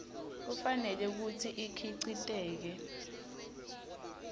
kufanele kutsi ikhiciteke